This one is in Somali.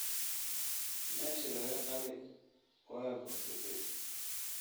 Meeshii laga qalay waa bogsatay